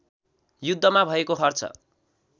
युद्धमा भएको खर्च